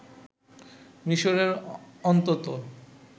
মিশরের অন্তত